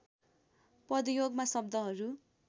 पदयोगमा शब्दहरू